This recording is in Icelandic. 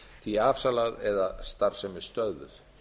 því afsalað eða starfsemi stöðvuð